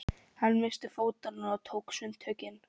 Hann missti fótanna og tók sundtökin.